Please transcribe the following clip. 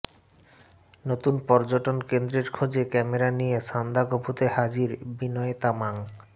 নতুন পর্যটন কেন্দ্রের খোঁজে ক্যামেরা নিয়ে সান্দাকফুতে হাজির বিনয় তামাং